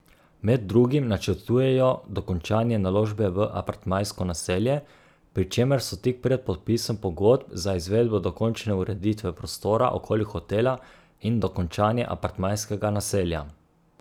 Med drugim načrtujejo dokončanje naložbe v apartmajsko naselje, pri čemer so tik pred podpisom pogodb za izvedbo dokončne ureditve prostora okoli hotela in dokončanje apartmajskega naselja.